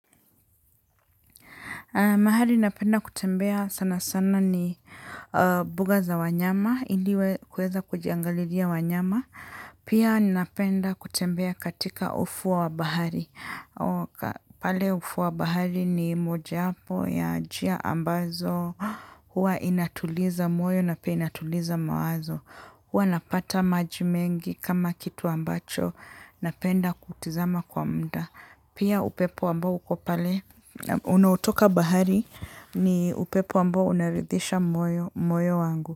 Mahali napenda kutembea sana sana ni mbuga za wanyama. Indiwe kuweza kujiangalilia wanyama. Pia napenda kutembea katika ufuo wa bahari. Pale ufuo wa bahari ni moja po ya jia ambazo. Huwa inatuliza moyo na pia inatuliza mawazo. Huwa napata majimengi kama kitu ambacho. Napenda kutizama kwa mda. Pia upepo ambao ukopale, unaotoka bahari ni upepo ambao unaridhisha moyo wangu.